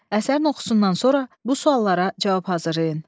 Əsərin oxusundan sonra bu suallara cavab hazırlayın.